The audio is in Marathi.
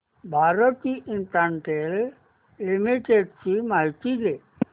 भारती इन्फ्राटेल लिमिटेड ची माहिती दे